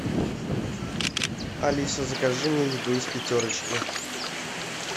алиса закажи мне еду из пятерочки